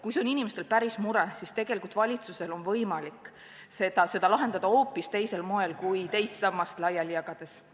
Kui see on inimestel päris mure, siis valitsusel on võimalik seda lahendada hoopis teisel moel kui teise samba raha laiali jagades.